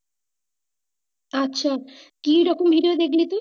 আচ্ছা কি রকম idea দেখলি তুই।